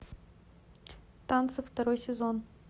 танцы второй сезон